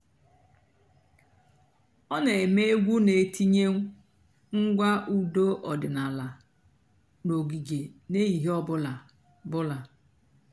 ọ́ nà-èmèé ègwú nà-ètínyé ǹgwá ụ́dọ́ ọ̀dị́náàlà n'ògíge n'èhìhè ọ̀ bụ́là. bụ́là.